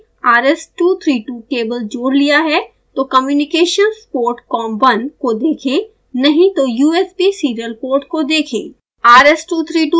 यदि आपने rs232 cable जोड़ लिया है तो communications port com1 को देखें नहीं तो usb serial port को देखें